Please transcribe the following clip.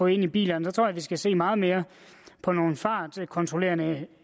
i bilerne så tror jeg vi skal se meget mere på nogle fartkontrollerende